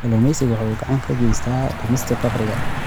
Kalluumaysigu waxa uu gacan ka geystaa dhimista faqriga.